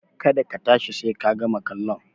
Ka da ka tashi sai ka gama kallon!